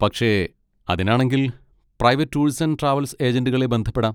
പക്ഷെ, അതിനാണെങ്കിൽ private tours and travels ഏജന്റുകളെ ബന്ധപ്പെടാം.